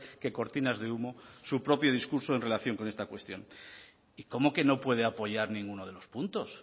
que cortinas de humo su propio discurso en relación con esta cuestión y cómo que no puede apoyar ninguno de los puntos